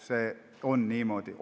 See on niimoodi.